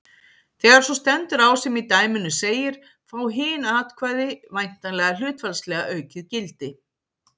Þegar svo stendur á sem í dæminu segir fá hin atkvæði væntanlega hlutfallslega aukið gildi.